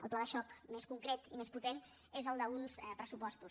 el pla de xoc més concret i més potent és el d’uns pressupostos